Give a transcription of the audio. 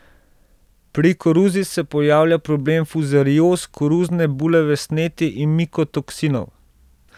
Pri koruzi se pojavlja problem fuzarioz, koruzne bulave sneti in mikotoksinov.